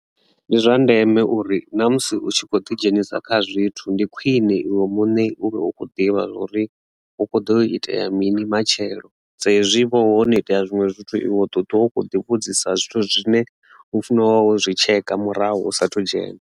Ndi zwa ndeme uri na musi u tshi kho ḓi dzhenisa kha zwithu ndi khwine iwe muṋe uri u khou ḓivha uri hu kho ḓo itea mini matshelo dza hezwi vho no itea zwinwe zwithu iwe ṱoḓwa u kho ḓi vhudzisa zwithu zwine ho funa wawo zwi tsheka murahu u sathu dzhena.